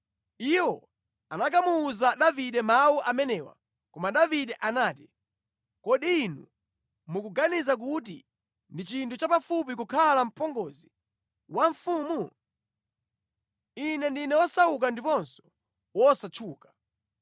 Iwo anakamuwuza Davide mawu amenewa, koma Davide anati, “Kodi inu mukuganiza kuti ndi chinthu chapafupi kukhala mpongozi wa mfumu? Ine ndine wosauka ndiponso wosatchuka.”